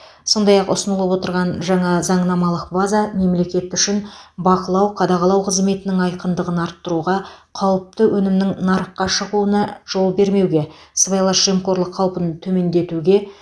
сондай ақ ұсынылып отырған жаңа заңнамалық база мемлекет үшін бақылау қадағалау қызметінің айқындығын арттыруға қауіпті өнімнің нарыққа шығуына жол бермеуге сыбайлас жемқорлық қаупін төмендетуге